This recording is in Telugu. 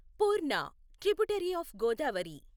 Purna tributary of Godavari